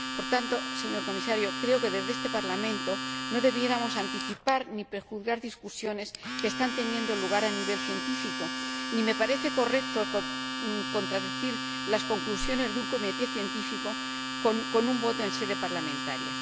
Por tanto, señor Comisario, creo que, desde este Parlamento, no deberíamos anticipar ni prejuzgar debates que están teniendo lugar a nivel científico, ni me parece correcto contradecir las conclusiones de un comité científico con una votación en sede parlamentaria.